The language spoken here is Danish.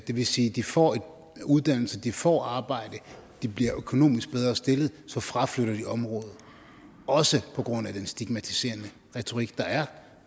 det vil sige de får uddannelse de får arbejde de bliver økonomisk bedre stillet så fraflytter de området også på grund af den stigmatiserende retorik der er